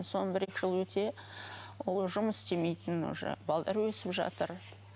содан бір екі жыл өте ол жұмыс істемейтін уже өсіп жатыр